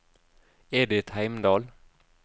Edith Heimdal